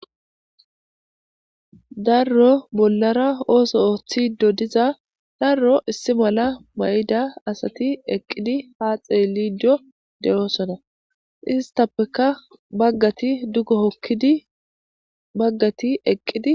darro bollara ooso ooththido diza darro issi mala ma'ida asati eqqidi ha xeelido de7oosona istappeka baggati duggo hokkidi baggati eqqidi